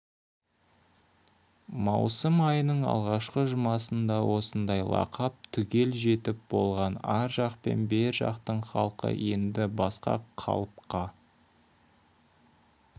маусым айының алғашқы жұмасында осындай лақап түгел жетіп болған ар жақ пен бер жақтың халқы енді басқа қалыпқа